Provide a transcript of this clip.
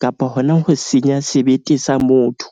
kapa hona ho senya sebete sa motho.